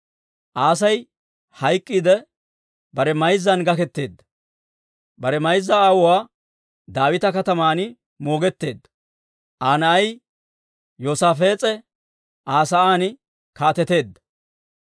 Aasi hayk'k'iidde, bare mayzzan gaketeedda; bare mayza aawuwaa Daawita Kataman moogetteedda. Aa na'ay Yoosaafees'e Aa sa'aan kaateteedda.